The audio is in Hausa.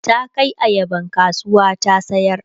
ta Kai ayaban kasuwa ta sayar